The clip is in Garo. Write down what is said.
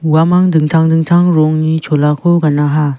uamang dingtang dingtang rongni cholako ganaha.